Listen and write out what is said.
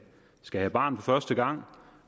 skal have barn for første gang